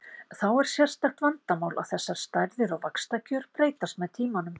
Þá er sérstakt vandamál að þessar stærðir og vaxtakjör breytast með tímanum.